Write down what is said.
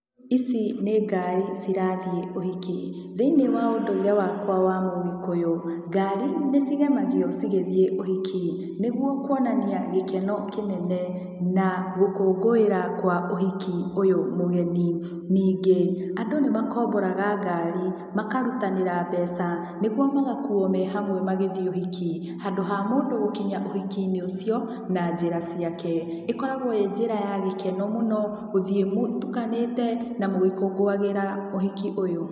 Ici nĩ ngari cirathiĩ ũhiki, thĩiniĩ wa ũndũire wakwa wa mũgĩkũyũ ngari nĩ cigemagio cigĩthiĩ ũhiki nĩguo kuonania gĩkeno kĩnene na gũkũngũĩra kwa ũhiki ũyũ mũgeni. Ningĩ andũ nĩ makomboraga ngari makarutanĩra mbeca nĩguo magakuuo me hamwe magĩthiĩ ũhiki handũ ha mũndũ gũkinya ũhiki-inĩ ũcio na njĩra ciake. Ĩkoragwo ĩĩ njĩra ya gĩkeno mũno gũthiĩ mũtukanĩte na mũgĩkũngũagĩra ũhiki ũyũ.